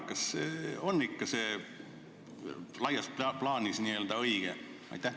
Kas see on ikka laias plaanis õige?